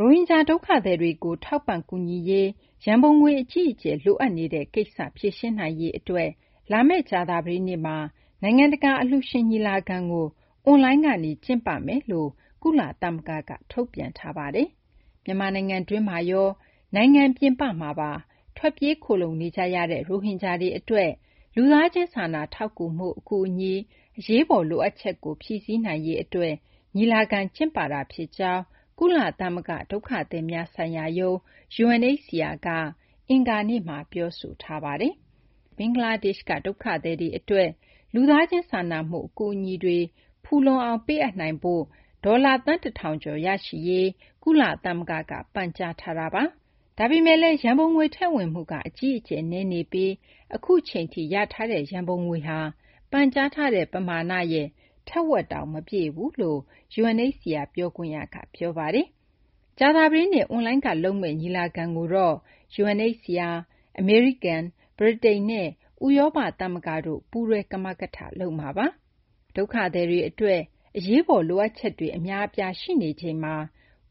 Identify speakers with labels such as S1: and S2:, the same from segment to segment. S1: ရိုဟင်ဂျာ ဒုက္ခသည်တွေကို ထောက်ပံ့ ကူညီရေး ရန်ပုံငွေ အကြီးအကျယ် လိုအပ်နေတဲ့ ကိစ္စကို ဖြေရှင်းနိုင်ရေး လာမယ့် ကြာသပတေးနေ့မှာ နိုင်ငံတကာ အလှူရှင် ညီလာခံကို အွန်လိုင်းကနေ ကျင်းပမယ်လို့ ကုလသမဂ္ဂက ထုတ်ပြန်ထားပါတယ်။ မြန်မာ နိုင်ငံတွင်းမှာရော နိုင်ငံပြင်ပမှာ ထွက်ပြေး ခိုလှုံနေကြရတဲ့ ရိုဟင်ဂျာတွေ အတွက် လူသားချင်း စာနာထောက်ကူမှု အကူအညီ အရေးပေါ် လိုအပ်ချက်ကို ဖြည့်စည်းနိုင်ရေး အတွက် ညီလာခံ ကျင်းပတာ ဖြစ်ကြောင်း ကုလသမဂ္ဂ ဒုက္ခသည်များဆိုင်ရာရုံး UNHCR က အင်္ဂါနေ့မှာ ပြောဆိုထားပါတယ်။ ဒုက္ခသည် ၈၀၀,၀၀၀ ကျော် ထွက်ပြေး ခိုလှုံနေကြတဲ့ ဘင်္ဂလားဒေရှ့်က ရိုဟင်ဂျာ ဒုက္ခသည်တွေ အတွက် လူသားချင်း စာနာမှု အကူအညီတွေ ဖူလုံအောင် ပေးအပ်နိုင်ဖို့ ဒေါ်လာ သန်း ၁,၀၀၀ ကျော် ရရှိရေး ကုလသမဂ္ဂက ပန်ကြားထားတာပါ။ ဒါပေမယ့်လည်း ရန်ပုံငွေ ထည့်ဝင်မှုက အကြီးအကျယ် နည်းနေပြီး အခုအချိန်ထိ ရရှိထားတဲ့ ရန်ပုံငွေဟာ ပန်ကြားထားတဲ့ ပမာဏရဲ့ ထက်ဝက်တောင် မပြည့်ဘူးလို့ UNHCR ပြောခွင့်ရ Andrej Mahecic က ပြောပါတယ်။ ကြာသပတေးနေ့ အွန်လိုင်းက ကျင်းပမယ့် ညီလာခံကိုတော့ UNHCR, အမေရိကန် ပြည်ထောင်စု၊ ဗြိတိန်နဲ့ ဥရောပ သမဂ္ဂတို့ ပူးတွဲ ကမကထ လုပ်မှာပါ။ ဒုက္ခသည်တွေ အတွက် အရေးပေါ် လိုအပ်ချက်တွေ အများအပြား ရှိနေချိန်မှာ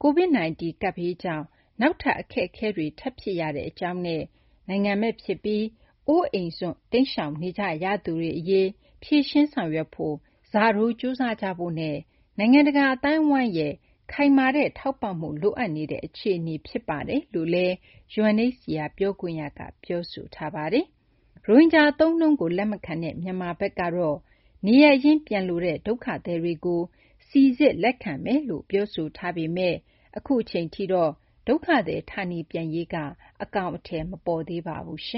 S1: COVID-19 ကပ်ဘေးကြောင့် နောက်ထပ် အခက်အခဲတွေ ထပ်ဖြစ်ရကြောင်း၊ နိုင်ငံမဲ့ ဖြစ်ပြီး အိုးအိမ်စွန့်တိမ်းရှောင်နေကြရသူတွေ အရေး ဖြေရှင်းဆောင်ရွက်ဖို့ ဆတိုး ကြိုးစားကြဖို့နဲ့ နိုင်ငံတကာ အသိုင်းအဝိုင်းရဲ့ ခိုင်မာတဲ့ ထောက်ပံ့မှု လိုအပ်နေတဲ့ အခြေအနေဖြစ်ကြောင်းလည်း UNHCR ပြောခွင့်ရ Mahecic က ပြောဆိုထားပါတယ်။ ရိုဟင်ဂျာ အသုံးအနှုန်းကို လက်မခံတဲ့ မြန်မာဘက်ကတော့ နေရပ်ရင်း ပြန်လိုတဲ့ ဒုက္ခသည်တွေကို စိစစ် လက်ခံမယ်လို့ ပြောဆိုထားပေမယ့် အခုအချိန်ထိတော့ ဒုက္ခသည် ဌာနေပြန်ရေး အကောင်အထည် မပေါ်သေးပါဘူး။